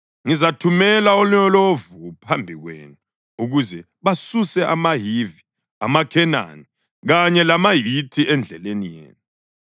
Ngizathumela olonyovu phambi kwenu ukuze basuse amaHivi, amaKhenani kanye lamaHithi endleleni yenu.